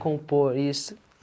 Compor, isso.